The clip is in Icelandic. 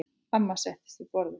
Amma settist við borðið.